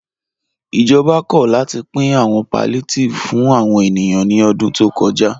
Ìjọba kò látì pìn àwọn palliatives fún àwọn ènìyàn ní ọ̀dún tó kọ́já.